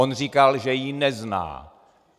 On říkal, že ji nezná.